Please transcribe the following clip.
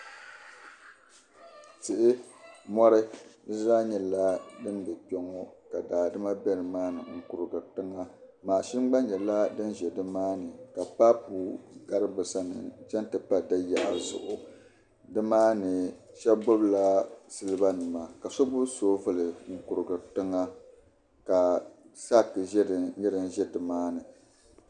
Tihi mori di zaa nyɛla din bɛ kpɛŋŋo ka daadama bɛ nimaani n kurigiri tiŋa mashin gba nyɛla din bɛ nimaa ni ka paapu sa n ti yi n chɛŋ ti pa da yaɣa zuɣu nimaani shab gbubila silba nima ka so gbubi soobuli n kurigiri tiŋa ka saak nyɛ din ʒɛ nimani